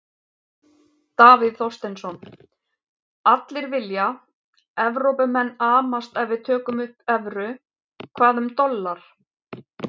Davíð Þorsteinsson: Allir vilja, Evrópumenn amast ef við tökum upp evru, hvað um dollar?